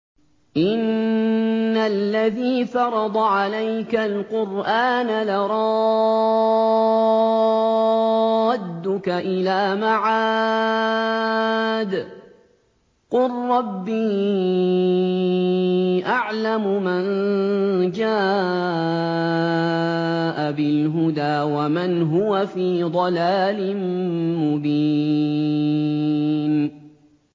إِنَّ الَّذِي فَرَضَ عَلَيْكَ الْقُرْآنَ لَرَادُّكَ إِلَىٰ مَعَادٍ ۚ قُل رَّبِّي أَعْلَمُ مَن جَاءَ بِالْهُدَىٰ وَمَنْ هُوَ فِي ضَلَالٍ مُّبِينٍ